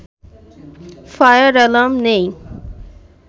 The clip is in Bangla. ফায়ার অ্যালার্ম নেই